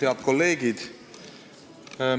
Head kolleegid!